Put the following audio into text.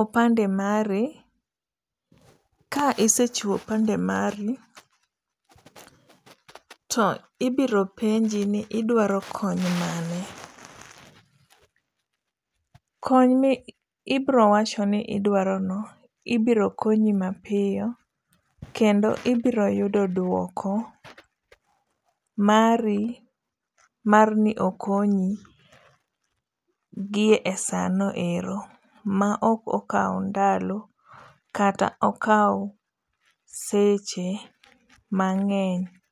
opande mari, ka isechiwo opande mari to ibiro penji ni to idwaro kony mane, kony ma ibirowacho ni idwarono ibirokonyi mapiyo kendo ibiro yudo dwoko mari marni okonyi gi e sano ero ma ok okawo ndalo kata okawo seche mang'eny